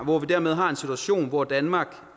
hvor vi dermed har en situation hvor danmark